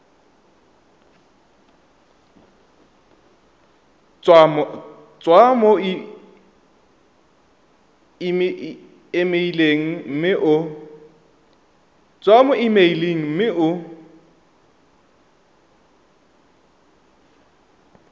tswa mo emeileng mme o